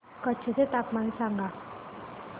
कच्छ चे तापमान सांगा